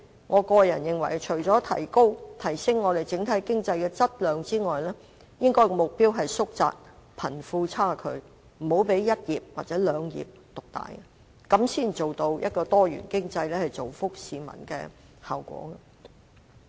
我認為除了提升香港整體經濟的質量之外，亦應該縮窄貧富差距，不要讓一兩個產業獨大，這樣才能達到多元經濟造福市民的效果。